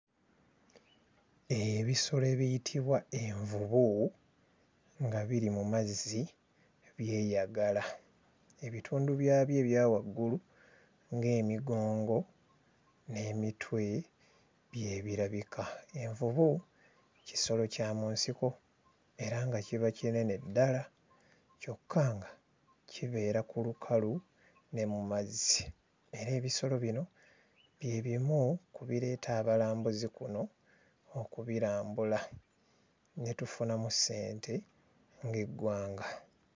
Ebisolo ebiyitibwa envubu nga biri mu mazzi byeyagala. Ebitundu byabyo ebya waggulu ng'emigongo n'emitwe by'ebirabika. Envubu kisolo kya mu nsiko era nga kiba kinene ddala kyokka nga kibeera ku lukalu ne mu mazzi. Era ebisolo bino bye bimu ku bireeta abalambuzi kuno okubirambula ne tufunamu ssente ng'eggwanga.